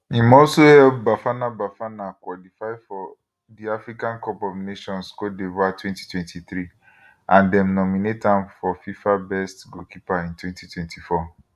im also help bafana bafana qualify for di africa cup of nations cote divoire 2023 and dem nominate am for fifa best goalkeeper in 2024